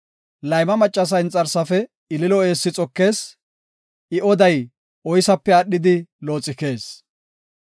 Layma maccasa inxarsafe ililo eessi xokees; I oday oysape aadhidi looxikees.